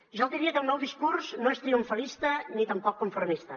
jo diria que el meu discurs no és triomfalista ni tampoc conformista